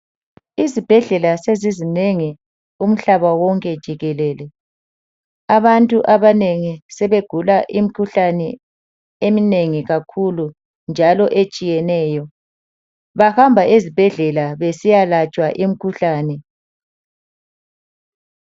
Izibhedlela sezizinengi kumhlaba wonke jikelele abantu abanengi sebegula imkhuhlane eminengi kakhulu njalo etshiyeneyo bahamba ezibhedlela besiya latshwa imkhuhlane.